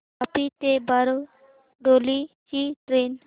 वापी ते बारडोली ची ट्रेन